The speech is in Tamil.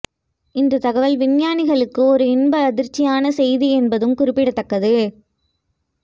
இந்த தகவல் விஞ்ஞானிகளுக்கு ஒரு இன்ப அதிர்ச்சியான செய்தி என்பதும் குறிப்பிடத்தக்கது